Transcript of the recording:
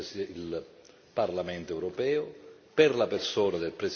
per la persona del Presidente e per il valore delle istituzioni.